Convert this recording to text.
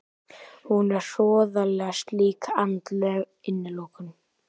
Hún er hroðaleg slík andleg innilokun.